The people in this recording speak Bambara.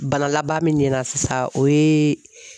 Bana laban min nɛna sisan o ye